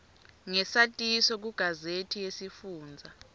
ngesatiso kugazethi yesifundza